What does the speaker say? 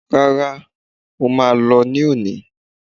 Rárá, mọ má lọ ní óni